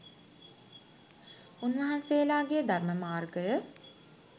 උන්වහන්සේලාගේ ධර්ම මාර්ගය